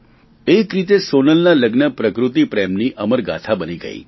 એક રીતે સોનલના લગ્ન પ્રકૃતિ પ્રેમની અમર ગાથા બની ગયી